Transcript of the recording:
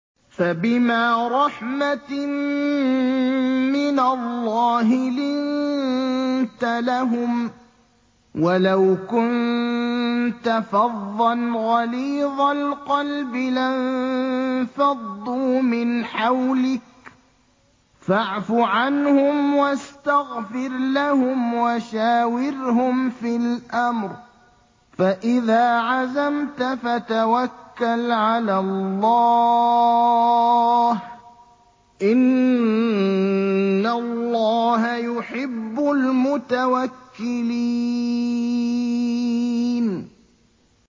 فَبِمَا رَحْمَةٍ مِّنَ اللَّهِ لِنتَ لَهُمْ ۖ وَلَوْ كُنتَ فَظًّا غَلِيظَ الْقَلْبِ لَانفَضُّوا مِنْ حَوْلِكَ ۖ فَاعْفُ عَنْهُمْ وَاسْتَغْفِرْ لَهُمْ وَشَاوِرْهُمْ فِي الْأَمْرِ ۖ فَإِذَا عَزَمْتَ فَتَوَكَّلْ عَلَى اللَّهِ ۚ إِنَّ اللَّهَ يُحِبُّ الْمُتَوَكِّلِينَ